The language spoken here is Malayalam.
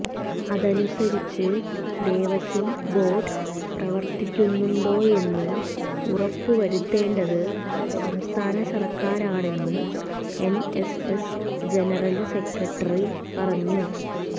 അതനുസരിച്ച് ദേവസ്വം ബോര്ഡ് പ്രവര്ത്തിക്കുന്നുണ്ടോയെന്ന് ഉറപ്പുവരുത്തേണ്ടത് സംസ്ഥാനസര്ക്കാരാണെന്നും എന്എസ്എസ് ജനറല് സെക്രട്ടറി പറഞ്ഞു